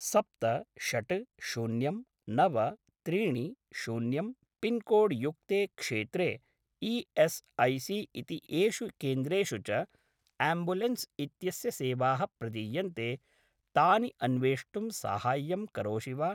सप्त षट् शून्यं नव त्रीणि शून्यं पिन्कोड् युक्ते क्षेत्रे ई.एस्.ऐ.सी.इति येषु केन्द्रेषु च आम्ब्युलेन्स् इत्यस्य सेवाः प्रदीयन्ते तानि अन्वेष्टुं साहाय्यं करोषि वा?